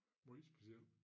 Måj speciel